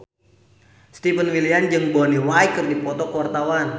Stefan William jeung Bonnie Wright keur dipoto ku wartawan